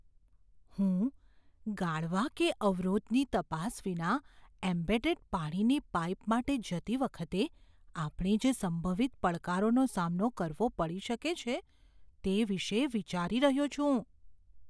હું ગાળવા કે અવરોધની તપાસ વિના એમ્બેડેડ પાણીની પાઇપ માટે જતી વખતે આપણે જે સંભવિત પડકારોનો સામનો કરવો પડી શકે છે, તે વિશે વિચારી રહ્યો છું.